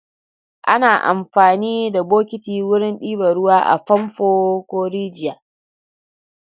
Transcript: Ana amfani da bokiti wurin ɗiba ruwa a famfo ko rijiya.